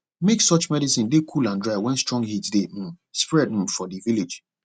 make sure medicin dey cool and dry wen strong heat dey um spread um for di village